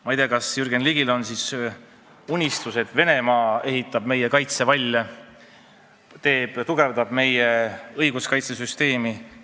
Ma ei tea, kas Jürgen Ligil on siis unistus, et Venemaa ehitab meie kaitsevalle ja tugevdab meie õiguskaitsesüsteemi.